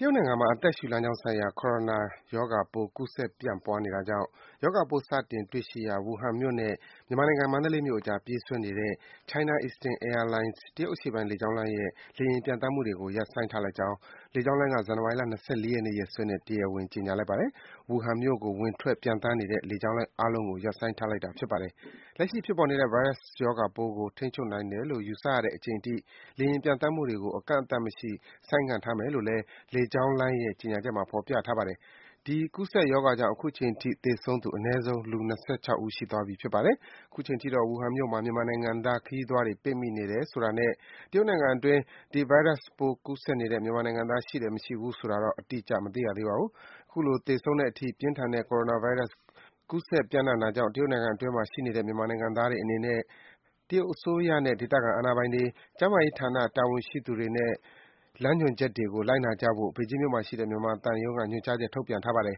တရုတ်နိုင်ငံမှာ အသက်ရှုလမ်းကြောင်းဆိုင်ရာ coronavirus ရောဂါပိုးသစ် ကူးစက် ပြန့်ပွားနေတာကြောင့် ရောဂါပိုး စတင်တွေ့ရှိရာ Wuhan မြို့နဲ့ မြန်မာနိုင်ငံ၊ မန္တလေးမြို့အကြား ပြေးဆွဲနေတဲ့ China Eastern Airlines တရုတ်အရှေ့ပိုင်း လေကြောင်းလိုင်းရဲ့ လေယာဉ် ပျံသန်းမှုတွေကို ရပ်ဆိုင်းထားလိုက်ကြောင်း လေကြောင်းလိုင်းက ဇန်နဝါရီ ၂၄ ရက်နေ့ ရက်စွဲနဲ့ တရားဝင် ကြေညာလိုက်ပါတယ်။ Wuhan မြို့ကို ဝင်ထွက် ပျံသန်းနေတဲ့ လေကြောင်းလိုင်းအားလုံးကို ရပ်ဆိုင်းလိုက်တာ ဖြစ်ပါတယ်။ လက်ရှိဖြစ်ပေါ်နေတဲ့ ဗိုင်းရပ်စ်ရောဂါပိုးကို ထိန်းချုပ်နိုင်တယ်လို့ ယူဆရတဲ့အချိန်အထိ လေယာဉ်ပျံသန်းမှုတွေကို အကန့်အသတ်မရှိ ဆိုင်းငံ့ထားမယ်လို့လည်း လေကြောင်းလိုင်းရဲ့ ကြေညာချက်မှာ ဖော်ပြထားပါတယ်။ ဒီကူးစက်ရောဂါကြောင့် အခုချိန်ထိ သေဆုံးသူ အနည်းဆုံး လူ ၂၆ ဦး ရှိသွားပြီ ဖြစ်ပါတယ်။ အခုချိန်ထိတော့ Wuhan မြို့မှာ မြန်မာနိုင်ငံသား ခရီးသွားတွေ ပိတ်မိနေတယ်ဆိုတာနဲ့ တရုတ်နိုင်ငံအတွင်း ဒီ ဗိုင်းရပ်စ်ပိုး ကူးစက်နေတဲ့ မြန်မာနိုင်ငံသား ရှိတယ် မရှိဘူးဆိုတာတော့ အတိအကျ အသိရသေးပါဘူး။ အခုလို လူသေဆုံးတဲ့အထိ ပြင်းထန်တဲ့ Coronovirus ကူးစက် ပြန့်နှံ့နေတာကြောင့် တရုတ်နိုင်ငံအတွင်းမှာရှိနေတဲ့ မြန်မာနိုင်ငံသားတွေ အနေနဲ့တရုတ်အစိုးရနဲ့ ဒေသခံအာဏာပိုင်တွေ၊ ကျန်းမာရေးဌာန တာဝန်ရှိသူတွေရဲ့ လမ်းညွှန်ချက်တွေကို လိုက်နာကြဖို့ ဘေဂျင်းမြို့မှာရှိတဲ့ မြန်မာသံရုံးက ညွန်ကြားချက် ထုတ်ပြန်ထားပါတယ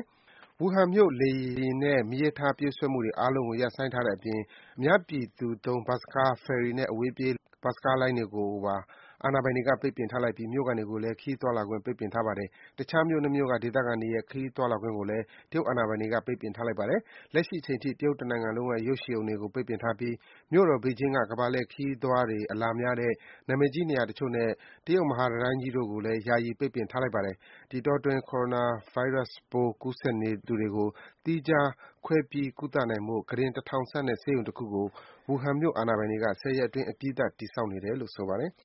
်။ Wuhan မြို့ လေယာဉ်နဲ့ မီးရထားပြေးဆွဲမှုတွေ အားလုံးကို ရပ်ဆိုင်းထားတဲ့အပြင် အများပြည်သူသုံး ဘတ်စ်ကား၊ ဖယ်ရီနဲ့ အဝေးပြေး ကားလိုင်းတွေ အားလုံးကိုပါ အာဏာပိုင်တွေက ပိတ်ပင်ထားလိုက်ပြီး မြို့ခံတွေကိုလည်း ခရီးသွားလာခွင့် ပိတ်ပင်ထားပါတယ်။ တခြား မြို့ ၂ မြို့က ဒေသခံတွေရဲ့ ခရီးသွားလာခွင့်ကိုလည်း တရုတ်အာဏာပိုင်တွေက ပိတ်ပင်ထားလိုက်ပါတယ်။ လက်ရှိအချိန်ထိ တနိုင်ငံလုံးက ရုပ်ရှင်ရုံတွေကို ပိတ်ပင်ထားပြီး မြို့တော် ဘေဂျင်းက ကမ္ဘာလှည့်ခရီးသွားတွေ အလာများတဲ့ နံမည်ကြီး နေရာတချို့နဲ့ တရုတ်မဟာတံတိုင်းကြီးတို့ကိုလည်း ယာယီ ပိတ်ပင်ထားလိုက်ပါတယ်။ ဒီအတောအတွင်း Coronavirus ပိုး ကူးစက်နေသူတွေကို သီးခြားခွဲပြီး ကုသနိုင်ဖို့ ကုတင် ၁,၀၀၀ ဆန့်တဲ့ ဆေးရုံတခုကို Wuhan မြို့မှာ အာဏာပိုင်တွေက ၁၀ ရက်အတွင်း အပြီးဆောက်နေတယ်လို့ ဆိုပါတယ်။